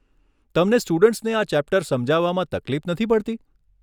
તમને સ્ટુડન્ટ્સને આ ચૅપ્ટર સમજાવવામાં તકલીફ નથી પડતી?